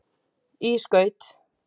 í skaut.